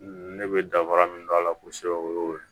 Ne bɛ dabara min don a la kosɛbɛ o ye o ye